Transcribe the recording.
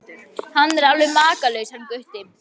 Hann er alveg makalaus hann Gutti.